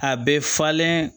A bɛ falen